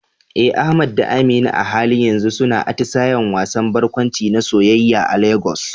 Eh Ahmad da Amina a halin yanzu suna atisayen wasan barkwanci na soyayya a Lagos.